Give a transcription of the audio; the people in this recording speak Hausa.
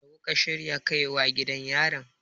me kuka shirya kai wa gidan yaran?